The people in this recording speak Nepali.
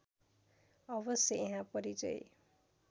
अवश्य यहाँ परिचय